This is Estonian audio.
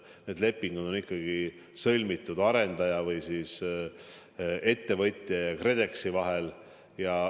Need lepingud on ikkagi sõlmitud arendaja või ettevõtja ja KredExi vahel.